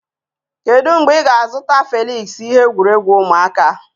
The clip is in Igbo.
Kedu mgbe ị ga-azụta Felịksị ihe egwuregwu ụmụaka?